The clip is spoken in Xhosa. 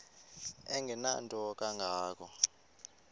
engenanto kanga ko